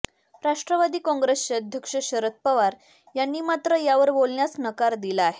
राष्ट्रवादी काँग्रेसचे अध्यक्ष शरद पवार यांनी मात्र यावर बोलण्यास नकार दिला आहे